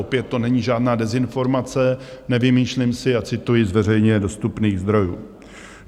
Opět to není žádná dezinformace, nevymýšlím si a cituji z veřejně dostupných zdrojů.